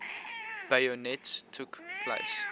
bayonets took place